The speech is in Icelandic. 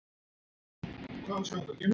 Hvað ræður úrslitum?